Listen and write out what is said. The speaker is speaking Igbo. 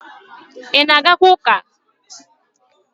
Ị na-agakwa chọọchị?